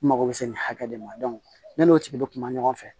N mago bɛ se nin hakɛ de ma ne n'o tigi bɛ kuma ɲɔgɔn fɛ